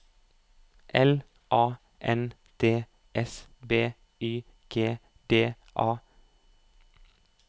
L A N D S B Y G D A